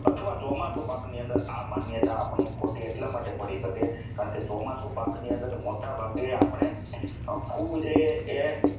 ચોમાસું પાક ની અંદર આ માન્યતા ખોટી એટલા માટે પડી શકે કારણ કે ચોમાસું પાક ની અંદર મોટાભાગે આપણે ખૂબ જ એ